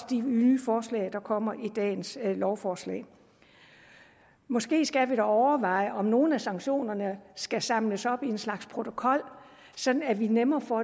de nye forslag der kommer i dagens lovforslag måske skal vi dog overveje om nogle af sanktionerne skal samles op i en slags protokol sådan at vi nemmere får